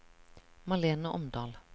Malene Omdal